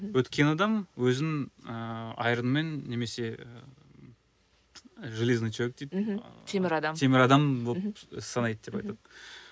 өткен адам өзін ыыы аэронмен немесе железный человек дейді мхм ыыы темір адам болып санайды деп айтады